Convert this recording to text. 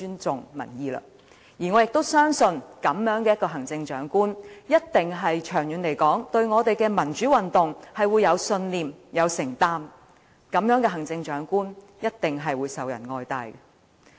所以，我相信，如果一位行政長官不害怕落區和尊重民意，他會是對民主運動具有信念和長遠承擔的；這樣的行政長官，一定受人愛戴。